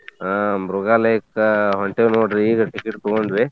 ಹಾ ಮೃಗಾಲಯಕ್ಕ ಹೊಂಟೇವ್ ನೋಡ್ರಿ ಈಗ ticket ತೂಗೋಂಡ್ವಿ.